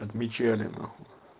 отмечали нахуй